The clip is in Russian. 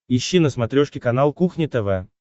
ищи на смотрешке канал кухня тв